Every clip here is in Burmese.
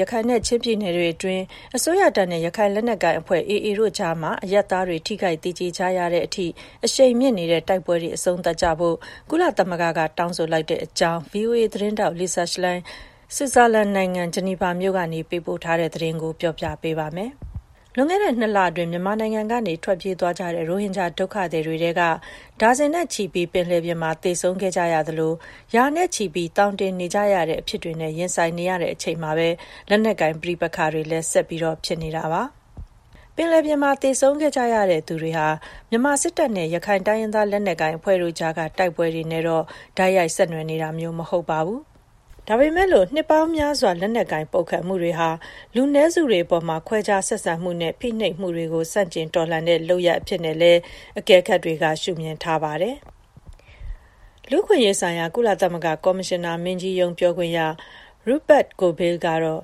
ရခိုင်နဲ့ ချင်းပြည်နယ်တွေအတွင်း အစိုးရတပ်နဲ့ ရခိုင်လက်နက်ကိုင်အဖွဲ့ AA တို့ကြားမှာ အရပ်သားတွေ ထိခိုက်သေကျေနေရတဲ့အထိ အရှိန်မြင့်နေတဲ့ တိုက်ပွဲတွေ အဆုံးသတ်ကြဖို့ ကုလသမဂ္ဂက တောင်းဆိုလိုက်ပါတယ်။ ဒီအကြောင်းနဲ့ပတ်သက်လို့ ဗွီအိုအေသတင်းထောက် Lisa Schlein ဆွစ်ဇာလန်နိုင်ငံ ဂျနီဗာမြို့ကနေ ပေးပို့ထားတဲ့သတင်းကို မခွာညိုက တင်ပြပေးထားပါတယ်။ လွန်ခဲ့တဲ့ ၂ လအတွင်း မြန်မာနိုင်ငံကနေ ထွက်ပြေးကြတဲ့ ရိုဟင်ဂျာ ဒုက္ခသည်တွေထဲက ဒါဇင်နဲ့ချီပြီး ပင်လယ်ပြင်မှာ သေဆုံးခဲ့ကြရသလို ရာနဲ့ချီပြီး သောင်တင်နေတဲ့ အဖြစ်တွေနဲ့ ကြုံနေရချိန်မှာပဲ လက်နက်ကိုင် ပဋိပက္ခတွေလည်း ဆက်လက်ဖြစ်ပွားနေတာပါ။ ပင်လယ်ပြင်မှာ သေဆုံးခဲ့ကြရသူတွေဟာ မြန်မာစစ်တပ်နဲ့ ရခိုင်တိုင်းရင်းသား လက်နက်ကိုင်အဖွဲ့တို့ကြားက တိုက်ပွဲတွေနဲ့တော့ တိုက်ရိုက် ဆက်နွှယ်နေတာမျိုးတော့ မဟုတ်ပါဘူး။ ဒါပေမယ့် နှစ်ပေါင်းများစွာ လက်နက်ကိုင် ပုန်ကန်မှုတွေဟာ လူနည်းစုတွေအပေါ် ခွဲခြားဆက်ဆံမှုနဲ့ ဖိနှိပ်မှုတွေကို ဆန့်ကျင်တော်လှန်တဲ့ လုပ်ရပ်အဖြစ်နဲ့လည်း အကဲခတ်တွေက ရှုမြင်ထားကြပါတယ်။ လူ့အခွင့်အရေးဆိုင်ရာ ကုလသမဂ္ဂ ကော်မရှင်နာမင်းကြီးရုံး ပြောခွင့်ရ Rupert Colville ကတော့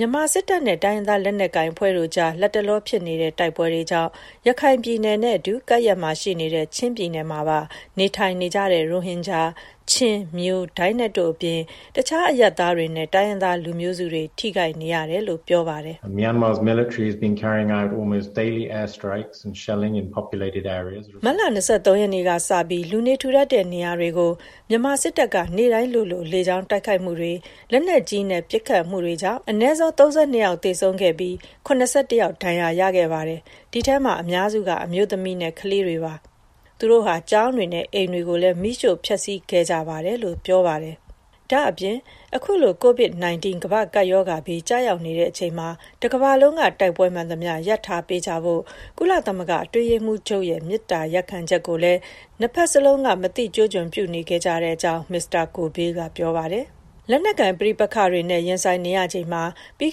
လတ်တလော မြန်မာစစ်တပ်နဲ့ တိုင်းရင်းသား လက်နက်ကိုင်အဖွဲ့တို့ကြား ဖြစ်ပွားနေတဲ့ တိုက်ပွဲတွေကြောင့် ရခိုင်ပြည်နယ်နဲ့အတူ ကပ်လျက်ရှိနေတဲ့ ချင်းပြည်နယ်မှာပါ နေထိုင်နေကြတဲ့ ရိုဟင်ဂျာ၊ ချင်း၊ မြို၊ ဒိုင်းနက်တို့အပြင် တခြားအရပ်သားတွေနဲ့ တိုင်းရင်းသား လူမျိုးစုတွေ ထိခိုက်နေရတယ်လို့ ပြောပါတယ်။ “မတ်လ ၂၃ ရက်နေ့ကစပြီး လူနေထူထပ်တဲ့ နေရာတွေကို မြန်မာစစ်တပ်က နေ့တိုင်းလိုလို လေကြောင်းတိုက်ခိုက်မှုတွေ၊ လက်နက်ကြီးနဲ့ ပစ်ခတ်မှုတွေကြောင့် အနည်းဆုံး ၃၂ ယောက် သေဆုံးပြီး ၇၁ ယောက် ဒဏ်ရာရခဲ့ပါတယ်။ ဒီထဲမှာ အများစုက အမျိုးသမီးနဲ့ ကလေးတွေ ဖြစ်ကြပါတယ်။ သူတို့ဟာ ကျောင်းတွေ၊ အိမ်တွေကိုလည်း မီးရှို့ဖျက်ဆီးခဲ့ကြပါတယ်။” ဒါ့အပြင် အခုလို COVID-19 ကမ္ဘာ့ကပ်ရောဂါဘေး ကျရောက်နေတဲ့အချိန်မှာ တကမ္ဘာလုံးက တိုက်ပွဲမှန်သမျှ ရပ်ထားပေးကြဖို့ ကုလသမဂ္ဂ အတွင်းရေးမှူးချုပ်ရဲ့ မေတ္တာရပ်ခံချက်ကိုလည်း နှစ်ဖက်စလုံးက မသိကျိုးကျွံ ပြုနေခဲ့ကြကြောင်း Colville က ပြောပါတယ်။ လက်နက်ကိုင် ပဋိပက္ခတွေနဲ့ ရင်ဆိုင်နေရချိန်မှာ ပြီး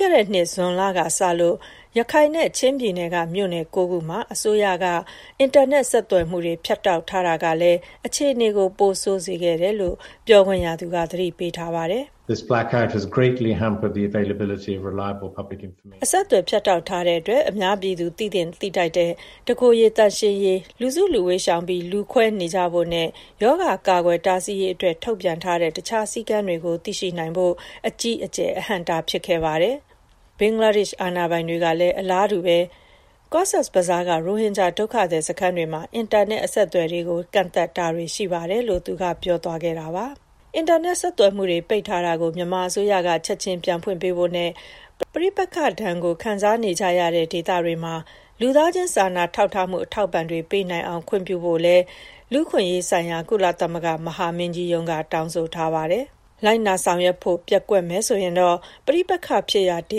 ခဲ့တဲ့နှစ် ဇွန်လကစလို့ ရခိုင်နဲ့ ချင်းပြည်နယ်က မြို့နယ် ၉ ခုမှာ အစိုးရက အင်တာနက် ဆက်သွယ်မှုတွေ ဖြတ်တောက်ထားတာဟာလည်း အခြေအနေကို ပိုဆိုးစေခဲ့ကြောင်း ပြောခွင့်ရသူက သတိပေးထားပါတယ်။ “အဆက်အသွယ် ဖြတ်တောက်ထားတဲ့အတွက် အများပြည်သူ သိသင့်သိထိုက်တဲ့ တကိုယ်ရေသန့်ရှင်းရေး၊ လူစုလူဝေးရှောင်ပြီး လူခွဲနေကြဖို့နဲ့ ရောဂါ ကာကွယ်တားဆီးရေးအတွက် ထုတ်ပြန်ထားတဲ့ တခြားစည်းကမ်းတွေကို သိရှိနိုင်ဖို့အတွက် အကြီးအကျယ် အဟန့်အတား ဖြစ်ခဲ့ပါတယ်။ ဘင်္ဂလားဒေ့ရှ် အာဏာပိုင်တွေကလည်း အလားတူ ကော့ဇ်ဘဇားက ရိုဟင်ဂျာ ဒုက္ခသည်စခန်းတွေမှာ အင်တာနက် အဆက်အသွယ်တွေကို ကန့်သတ်တာတွေ ရှိပါတယ်။” အင်တာနက် ဆက်သွယ်မှုတွေ ပိတ်ထားတာကို မြန်မာအစိုးရက ချက်ချင်းပြန်ဖွင့်ပေးဖို့နဲ့ ပဋိပက္ခဒဏ်ကို ခံစားနေကြရတဲ့ ဒေသတွေမှာ လူသားချင်း စာနာမှု အထောက်အပံ့တွေ ပေးနိုင်အောင် ခွင့်ပြုဖို့လည်း လူ့အခွင့်အရေးဆိုင်ရာ ကုလသမဂ္ဂ မဟာမင်းကြီးရုံးက တောင်းဆိုထားပါတယ်။ လိုက်နာဆောင်ရွက်ဖို့ ပျက်ကွက်မယ်ဆိုရင်တော့ ပဋိပက္ခဖြစ်ရာ ဒေ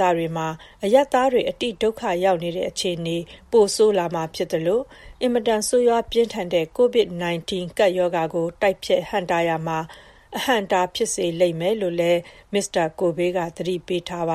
သတွေမှာ အရပ်သားတွေ အတိဒုက္ခရောက်နေတဲ့ အခြေအနေ ပိုဆိုးလာမှာဖြစ်သလို အင်မတန် ဆိုးရွားပြင်းထန်တဲ့ COVID-19 ကပ်ရောဂါကို တိုက်ဖျက်ဟန့်တားရာမှာ အဟန့်အတား ဖြစ်စေလိမ့်မယ်လို့လည်း Mr. Colville က သတိပေးထားပါ